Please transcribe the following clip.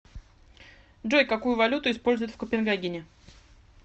джой какую валюту используют в копенгагене